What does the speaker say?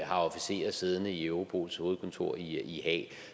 har officerer siddende i europols hovedkontor i haag